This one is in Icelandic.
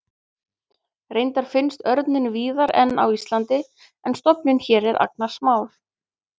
reyndar finnst örninn víðari en á íslandi en stofninn hér er agnarsmár